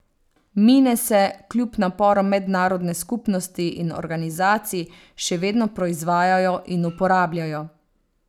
Mine se, kljub naporom mednarodne skupnosti in organizacij, še vedno proizvajajo in uporabljajo.